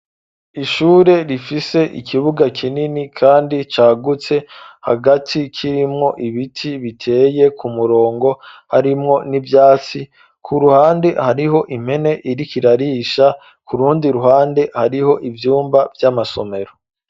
Ishure rifise ikibuga kinini, kandi cagutse ,hagati kirimwo ibiti biteye ku murongo ,harimwo n'ivyatsi ku ruhande hariho impene iri kirarisha ,kurundi ruhande hariho ivyumba vy'amasomero.